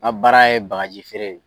N ka baara ye bagaji feere ye.